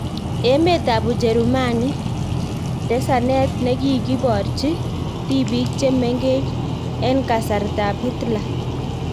Emet ab Ujerumani; Tesanet nekikiborchi tipiik chemengen en kasartab hitler